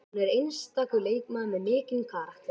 Estel, hvernig verður veðrið á morgun?